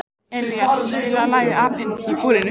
Elíeser, spilaðu lagið „Apinn í búrinu“.